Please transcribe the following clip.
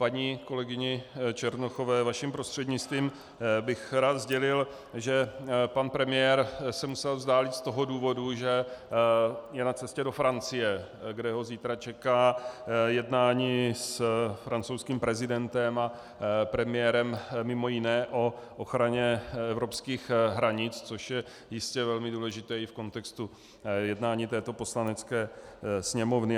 Paní kolegyni Černochové, vaším prostřednictvím, bych rád sdělil, že pan premiér se musel vzdálit z toho důvodu, že je na cestě do Francie, kde ho zítra čeká jednání s francouzským prezidentem a premiérem, mimo jiné o ochraně evropských hranic, což je jistě velmi důležité i v kontextu jednání této Poslanecké sněmovny.